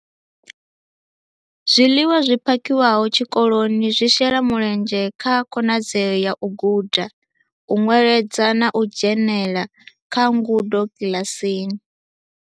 Zwiḽiwa zwi phakhiwaho tshikoloni zwi shela mulenzhe kha khonadzeo ya u guda, u nweledza na u dzhenela kha ngudo kiḽasini.